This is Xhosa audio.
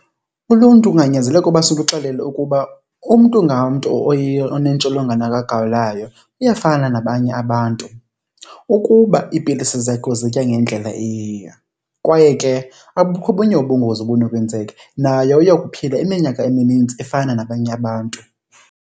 Uluntu kunganyanzeleka uba siluxelele ukuba umntu ngamntu onentsholongwane kagawulayo uyafana nabanye abantu. Ukuba iipilisi zakhe uzitya ngendlela eyiyo kwaye ke abukho obunye ubungozi obunokwenzeka, naye uyokuphila iminyaka eminintsi efana nabanye abantu.